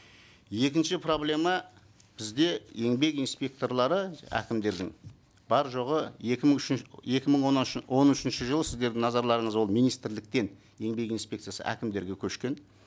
екінші проблема бізде еңбек инспекторлары әкімдердің бар жоғы екі мың екі мың он үшінші жылы сіздердің назарларыңыз ол министрліктен еңбек инспекциясы әкімдерге көшкен